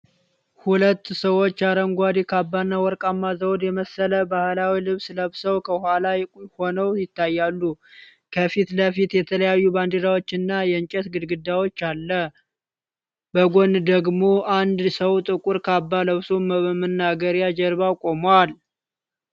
ሁለት ሰዎች አረንጓዴ ካባና ወርቃማ ዘውድ የመሰለ ባህላዊ ልብስ ለብሰው ከኋላ ሆነው ይታያሉ። ከፊት ለፊት የተለያዩ ባንዲራዎችና የእንጨት ግድግዳ አለ። በጎን ደግሞ አንድ ሰው ጥቁር ካባ ለብሶ በመናገሪያ ጀርባ ቆሟል።